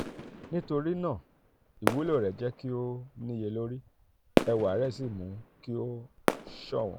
nítorí um náà ìwúlò rẹ̀ jẹ́ kí ó níye lórí ẹwà um rẹ̀ sì mú kí ó ṣọ̀wọ́n.